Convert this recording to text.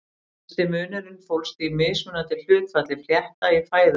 Helsti munurinn fólst í mismunandi hlutfalli flétta í fæðu þeirra.